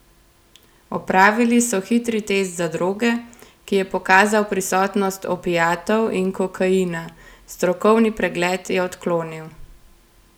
Opravili so hitri test za droge, ki je pokazal prisotnost opiatov in kokaina, strokovni pregled je odklonil.